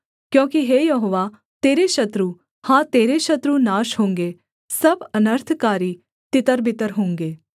क्योंकि हे यहोवा तेरे शत्रु हाँ तेरे शत्रु नाश होंगे सब अनर्थकारी तितरबितर होंगे